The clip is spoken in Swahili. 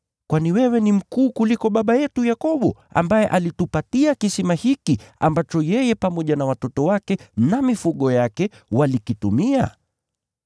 Kwani wewe ni mkuu kuliko baba yetu Yakobo ambaye alitupatia kisima hiki, ambacho yeye pamoja na watoto wake na mifugo yake walikitumia?”